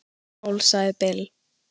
"""Skál, sagði Bill."""